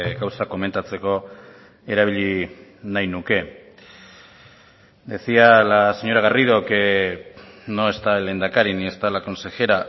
gauza komentatzeko erabili nahi nuke decía la señora garrido que no está el lehendakari ni está la consejera